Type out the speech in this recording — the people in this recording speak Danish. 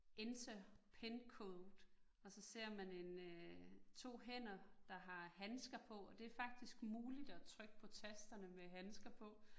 Enter pincode, og så ser man 1 øh 2 hænder, der har handkser på, og det faktisk muligt at trykke på tasterne med handsker på